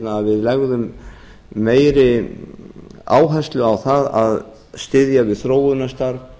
að við leggjum meiri áherslu á að styðja við þróunarstarf